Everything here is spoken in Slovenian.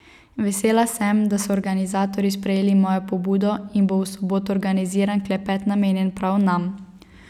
Vesela sem, da so organizatorji sprejeli mojo pobudo in bo v soboto organiziran klepet namenjen prav nam.